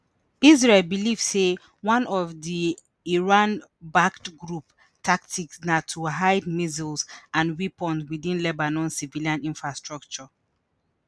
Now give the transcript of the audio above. israel believe say one of di iran-backed group tactics na to hide missiles and weapons within lebanon civilian infrastructure.